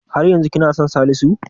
Har yanzu kina son Salisu?